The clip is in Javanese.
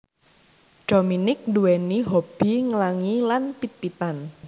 Dominique nduwèni hobby nglangi lan pit pitan